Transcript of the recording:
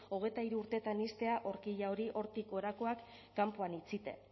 hogeita hiru urteetan ixtea horquilla hori hortik gorakoak kanpoan utzita